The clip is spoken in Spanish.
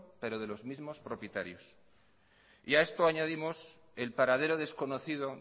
pero de los mismos propietarios y a esto añadimos el paradero desconocido